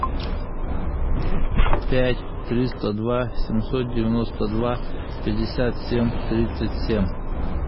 пять триста два семьсот девяносто два пятьдесят семь тридцать семь